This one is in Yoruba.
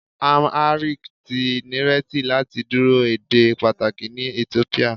Amharic ti nireti lati duro ede pataki ni Etiopia